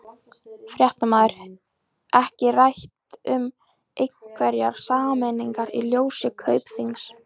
Fréttamaður: Ekki rætt um einhverjar sameiningar í ljósi Kaupþings?